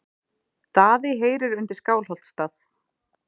Daði heyrir undir Skálholtsstað.